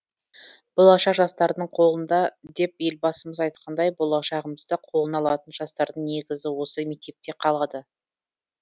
болашақ жастардың қолында деп елбасымыз айтқандай болашағымызды қолына алатын жастардың негізі осы мектепте қалады